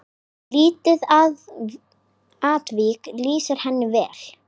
Lítið atvik lýsir henni vel.